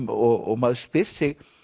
og maður spyr sig